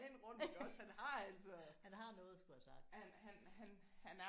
Har har noget at skulle have sagt